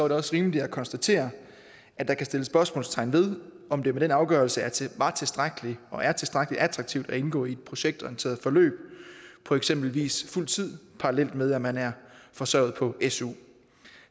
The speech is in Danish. det også rimeligt at konstatere at der kan sættes spørgsmålstegn ved om det med den afgørelse var tilstrækkelig og er tilstrækkelig attraktivt at indgå i projektorienterede forløb for eksempel fuld tid parallelt med at man er forsørget på su